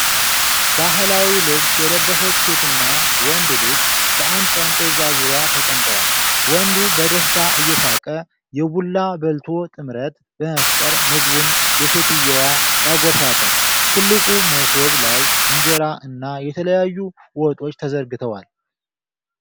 ባህላዊ ልብስ የለበሰች ሴትና ወንድ ልጅ በአንድ ጠረጴዛ ዙሪያ ተቀምጠዋል። ወንዱ በደስታ እየሳቀ፣ የቡላ በልቶ ጥምረት በመፍጠር ምግቡን ለሴትየዋ ያጎርሳታል። ትልቁ መሶብ ላይ እንጀራ እና የተለያዩ ወጦች ተዘርግተዋል።